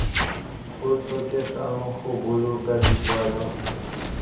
go tlhokegang go boloka dikwalo